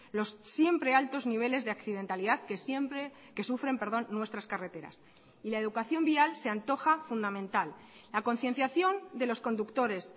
los siempre altos niveles de accidentalidad que siempre que sufren perdón nuestras carreteras y la educación vial se antoja fundamental la concienciación de los conductores